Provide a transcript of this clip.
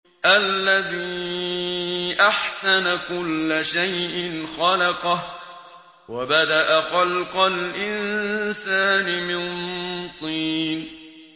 الَّذِي أَحْسَنَ كُلَّ شَيْءٍ خَلَقَهُ ۖ وَبَدَأَ خَلْقَ الْإِنسَانِ مِن طِينٍ